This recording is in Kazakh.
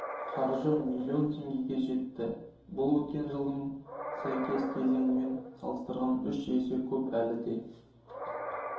қаржы миллион теңгеге жетті бұл өткен жылдың сәйкес кезеңімен салыстарған үш есе көп әлі де